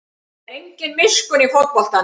Það er engin miskunn í fótboltanum